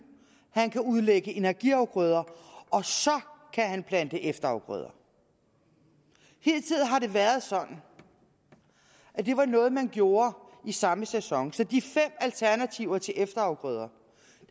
han kan udlægge energiafgrøder og så kan han plante efterafgrøder hidtil har det været sådan at det var noget man gjorde i samme sæson så de fem alternativer til efterafgrøder